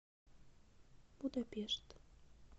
будапешт